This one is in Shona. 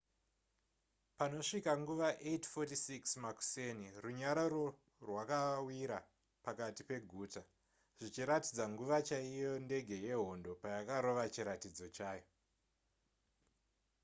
panosvika nguva 8:46 makuseni runyararo rwakawira pakati peguta zvichiratidza nguva chaiyo ndege yehondo payakarova chiratidzo chayo